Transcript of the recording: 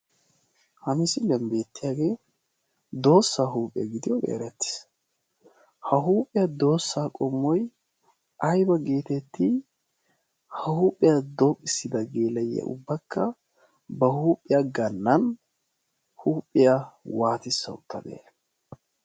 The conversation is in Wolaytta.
ha misilliyan beettiyaagee doossaa huuphiyaa gidiyooge erettiis. ha huuphiyaa doossaa qommoi aiba geetetti ha huuphiyaa dooqissida geelayiya ubbakka ba huuphiyaa gannan huuphiyaa waatissa uttadee?